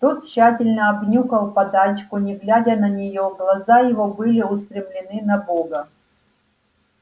тот тщательно обнюхал подачку не глядя на неё глаза его были устремлены на бога